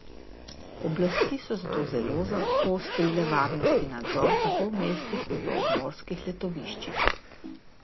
Oblasti so zato zelo poostrile varnostni nadzor tako v mestih kot v obmorskih letoviščih.